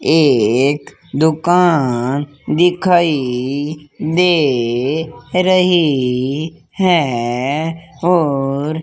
ये एक दुकान दिखाई दे रही है और --